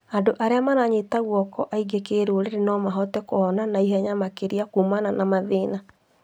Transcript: Andũ arĩa maranyita guoko angĩ kĩrũrĩrĩ no mahote kũhona naihenya makĩria kũmana na mathina.